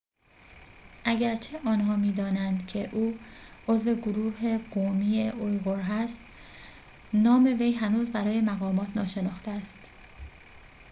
اگرچه آنها می‌دانند که او عضو گروه قومی اویغور است نام وی هنوز برای مقامات ناشناخته است